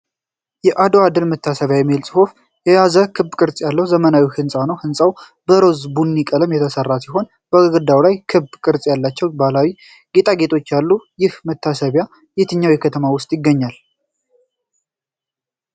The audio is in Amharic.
'የአድዋ ድል መታሰቢያ' የሚል ጽሑፍ የያዘ ክብ ቅርጽ ያለው ዘመናዊ ሕንፃ ነው። ሕንጻው በሮዝ ቡኒ ቀለም የተሠራ ሲሆን በግድግዳው ላይ ክብ ቅርጽ ያላቸው ባህላዊ ጌጣጌጦች አሉት። ይህ መታሰቢያ የትኛው ከተማ ውስጥ ይገኛል?